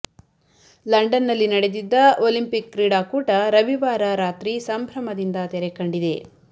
ಲಂಡನ್ದಲ್ಲಿ ನಡೆದಿದ್ದ ಓಲಂಪಿಕ್ ಕ್ರೀಡಾ ಕೂಟ ರವಿವಾರ ರಾತ್ರಿ ಸಂಭ್ರಮದಿಂದ ತೆರೆ ಕಂಡಿದೆ